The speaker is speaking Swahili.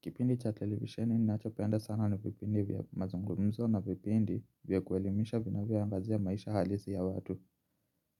Kipindi cha televisioni ninacho penda sana na vipindi vya mazungumzo na vipindi vya kuelimisha vinavyoangazia maisha halisi ya watu.